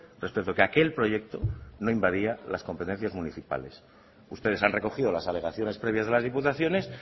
respecto que aquel proyecto no invadía las competencias municipales ustedes han recogido las alegaciones previas de las diputaciones